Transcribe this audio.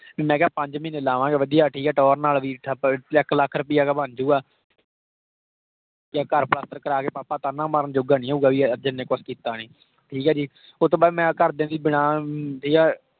ਮੈਂ ਕਿਹਾ ਪੰਜ ਮਹੀਨੇ ਲਾਵਾਂਗੇ ਵਧਿਆ, ਠੀਕ ਹੈ ਟੋਰ ਨਾਲ ਵੀ ਇੱਕ ਲੱਖ ਰੁਪਇਆ ਬਨਜੁਗਾ। ਯਾਂ ਘਰ ਪਲਸਤਰ ਕਰਾ ਕੇ papa ਤਾਹਨਾ ਮਾਰਨ ਜੋਗਾ ਨਹੀਂ ਹੋਊਗਾ ਵੀ ਇਹ ਅਰਜਨ ਨੇ ਕੁਛ ਕੀਤਾ ਨਹੀਂ। ਠੀਕ ਆ ਜੀ। ਉਸਤੋਂ ਬਾਅਦ ਮੈਂ ਘਰ ਦੀਆਂ ਦੀ ਬਿਨਾ ਠੀਕ ਆ